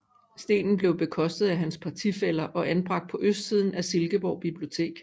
Stenen blev bekostet af hans partifæller og anbragt på østsiden af Silkeborg bibliotek